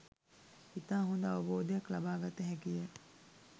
ඉතා හොඳ අවබෝධයක් ලබා ගත හැකිය.